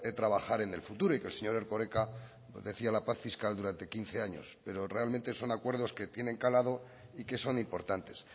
trabajar en el futuro y que el señor erkoreka decía la paz fiscal durante quince años pero realmente son acuerdos que tienen calado y que son importantes